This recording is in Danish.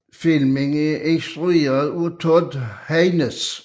Filmen er instrueret af Todd Haynes